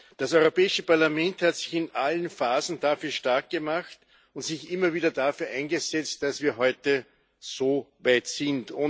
Das Europäische Parlament hat sich in allen Phasen dafür stark gemacht und sich immer wieder dafür eingesetzt, dass wir heute so weit sind.